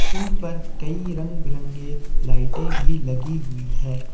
उन पर कई रंग बिरंगे लाइटें भी लगी हुई है।